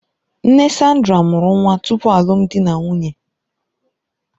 Nne Sandra mụrụ nwa tupu alụmdi na nwunye.